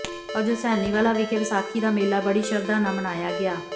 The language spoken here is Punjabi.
ਅੱਜ ਹੁਸੈਨੀਵਾਲਾ ਵਿਖੇ ਵਿਸਾਖੀ ਦਾ ਮੇਲਾ ਬੜੀ ਸ਼ਰਧਾ ਨਾਲ ਮਨਾਇਆ ਗਿਆ